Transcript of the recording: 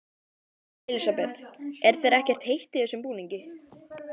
Elísabet: Er þér ekkert heitt í þessum búningi?